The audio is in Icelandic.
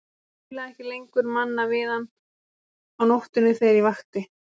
Ég spilaði ekki lengur Manna við hann á nóttunni þegar ég vakti.